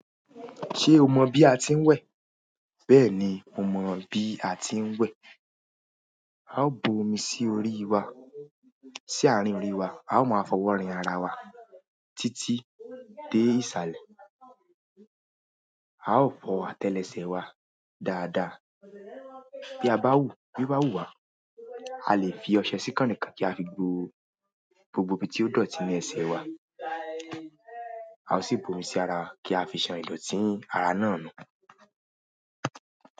Ṣé o mọ bí a ti ń wẹ̀? Bẹ́ẹ̀ni, mo mọ bí a ti ń wẹ̀. A ó bu omi sí orí wa, sí àárín orí wa, a ó ma fọwọ́ rin ara wa títí dé ìsàlẹ̀. A ó fọ àtẹlẹsẹ̀ wa dáadáa. Bí a bá wù, bí o bá wù wa, a lè fi ọṣẹ sí kànnikan kí a fi gbo gbogbo ibi tí ó dọ̀tí ní ẹsẹ̀ wa. A ó sì bu omi sí ara kí a fi ṣan ìdọ̀tí ara náà nù.